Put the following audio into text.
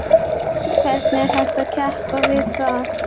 Hvernig er hægt að keppa við það?